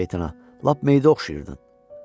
Lənət şeytana, lap meyitə oxşayırdın.